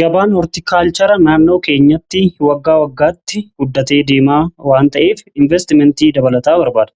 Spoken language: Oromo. gabaan hoortikaalchara naannoo keenyatti waggaa waggaatti guddatee deemaa waan ta'eef inveestimentii dabalataa barbaada.